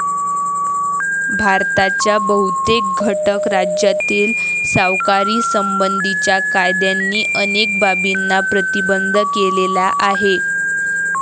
भारताच्या बहुतेक घटक राज्यातील सावकारीसंबंधीच्या कायद्यांनी अनेक बाबींना प्रतिबंध केलेला आहे.